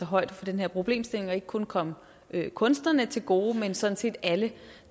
højde for den her problemstilling og ikke kun komme kunstnerne til gode men sådan set alle